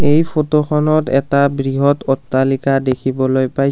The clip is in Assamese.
এই ফটো খনত এটা বৃহৎ অট্টালিকা দেখিবলৈ পাইছোঁ।